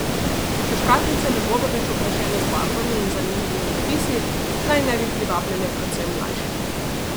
Ker škatlice ne bodo več okrašene z barvami in zanimivimi napisi, naj ne bi privabljale predvsem mlajših.